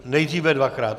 Nejdříve dvakrát.